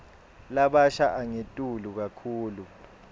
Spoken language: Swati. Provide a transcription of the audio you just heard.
labasha angetulu kakhulu